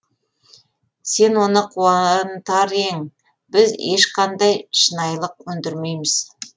сен оны қуантар ең біз ешқандай шынайылық өндірмейміз